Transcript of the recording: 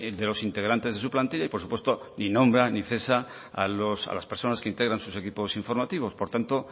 de los integrantes de su plantilla y por supuesto ni nombra ni cesa a las personas que integran sus equipos informativos por tanto